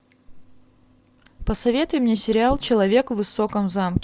посоветуй мне сериал человек в высоком замке